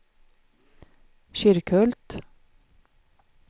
Kyrkhult